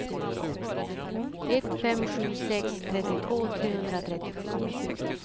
ett fem sju sex trettiotvå trehundratrettiosju